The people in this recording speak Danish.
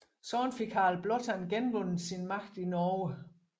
Sådan fik Harald Blåtand genvundet sin magt i Norge